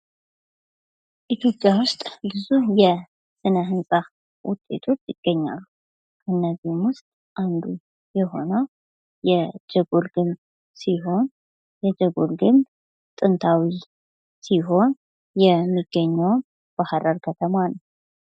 ኢትዮጵያ ዉስጥ ብዙ የስነህንፃ ዉጤቶች ይገኛሉ:: ከነዚህም ዉስጥ አንዱ የሆነው የጀጎል ግንብ ሲሆን የጀጎል ግንብ ጥንታዊ ሲሆን የሚገኘውም በሐረር ከተማ ነው::